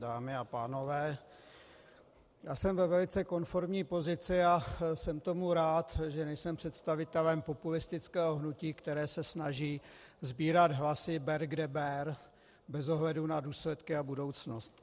Dámy a pánové, já jsem ve velice konformní pozici, a jsem tomu rád, že nejsem představitelem populistického hnutí, které se snaží sbírat hlasy ber kde ber bez ohledu na důsledky a budoucnost.